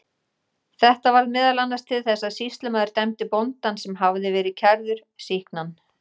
Þetta varð meðal annars til þess að sýslumaður dæmdi bóndann, sem hafði verið kærður, sýknan.